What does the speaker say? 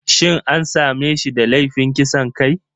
Shin an same shi da laifin kisan kai?